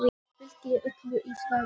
Fengir Öldu í staðinn.